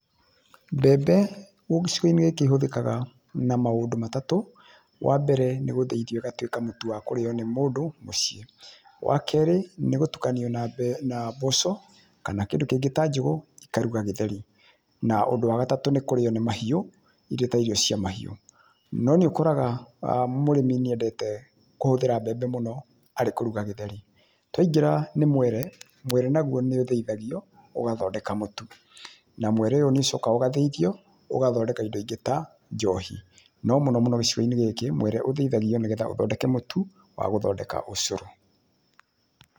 Mbembe gĩcigo-inĩ gĩkĩ ihũthĩkaga na maũndũ matatũ, wa mbere nĩ gũthĩithio ĩgatuĩka mũtu wa kũrĩo nĩ mũndũ mũciĩ, wa kĩrĩ nĩ gũtukanio na mboco kana kĩndũ kĩngĩ ta njũgũ ikaruga gĩtheri na ũndũ wa gatatũ nĩ kũrĩo nĩ mahiũ irĩ ta irio cia mahiũ. No nĩ ũkoraga mũrĩmi nĩ endete kũhũthĩra mbembe mũno harĩ kũruga gĩtheri. Twaingĩra nĩ mwere, mwere naguo nĩ ũthĩithagio ugathondeka mũtu na mwere ũyũ nĩ ũcokaga ũgathĩithio ũgathondeka indo ingĩ ta njohi. No mũnomũno gĩcigo-inĩ gĩkĩ, mwere ũthĩithagio nĩgetha ũthondeke mũtũ wa gũthondeka ũcũrũ.